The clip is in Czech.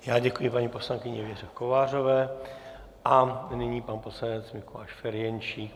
Já děkuji paní poslankyni Věře Kovářové a nyní pan poslanec Mikuláš Ferjenčík.